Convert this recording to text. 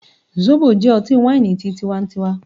Zobo jẹ ọti-waini ti tíwá ń tíwa